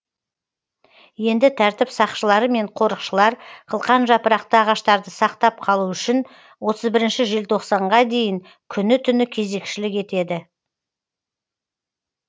енді тәртіп сақшылары мен қорықшылар қылқан жапырақты ағаштарды сақтап қалу үшін отыз бірінші желтоқсанға дейін күні түні кезекшілік етеді